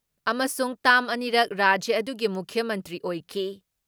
ꯑꯃꯁꯨꯡ ꯇꯥꯝ ꯑꯅꯤꯔꯛ ꯔꯥꯖ꯭ꯌ ꯑꯗꯨꯒꯤ ꯃꯨꯈ꯭ꯌ ꯃꯟꯇ꯭ꯔꯤ ꯑꯣꯏꯈꯤ ꯫